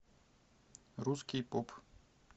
русский поп